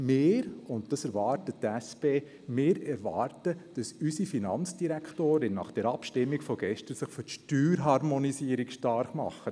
Wir, die SP, erwarten, dass unsere Finanzdirektorin sich nach dieser Abstimmung von gestern für die Steuerharmonisierung stark macht.